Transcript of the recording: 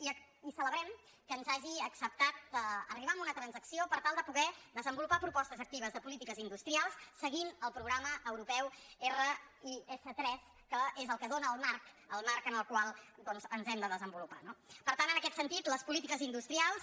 i celebrem que ens hagi acceptat arribar a una transacció per tal de poder des·envolupar propostes actives de polítiques industrials seguint el programa europeu ris3 que és el que dóna el marc el marc en el qual doncs ens hem de des·envolupar no per tant en aquest sentit les polítiques industrials